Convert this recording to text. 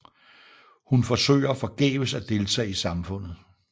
Hun forsøger forgæves at deltage i samfundet